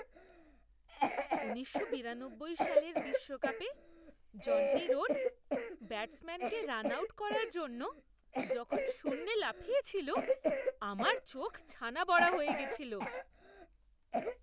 উনিশশো বিরানব্বই সালের বিশ্বকাপে জন্টি রোডস ব্যাটসম্যানকে রান আউট করার জন্য যখন শূন্যে লাফিয়েছিল, আমার চোখ ছানাবড়া হয়ে গেছিল।